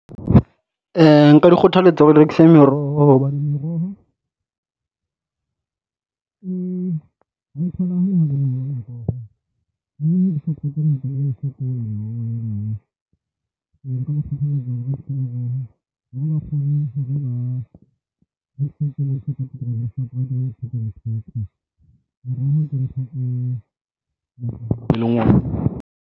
Nka di kgothaletsa hore di rekise meroho hobane meroho e